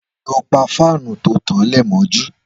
Lọ pà fànú tó tán lẹ mọjú